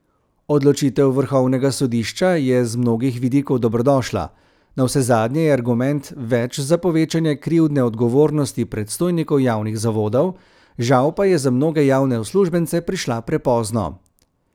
Odločitev vrhovnega sodišča je z mnogih vidikov dobrodošla, navsezadnje je argument več za povečanje krivdne odgovornosti predstojnikov javnih zavodov, žal pa je za mnoge javne uslužbence prišla prepozno.